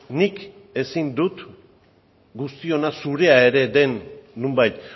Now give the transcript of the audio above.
nik ezin dut guztiona zurea ere den nonbait